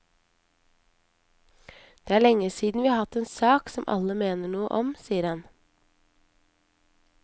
Det er lenge siden vi har hatt en sak som alle mener noe om, sier han.